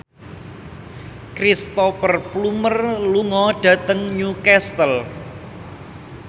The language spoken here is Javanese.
Cristhoper Plumer lunga dhateng Newcastle